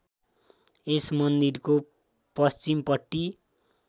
यस मन्दिरको पश्चिमपट्टि